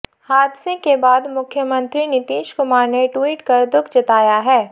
हादसे के बाद मुख्यमंत्री नीतीश कुमार ने ट्वीट कर दुख जताया है